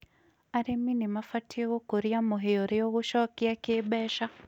arĩmĩ nĩmabatĩĩ gũkũrĩa mũhĩa ũrĩa ũgũcokĩa kĩmbeca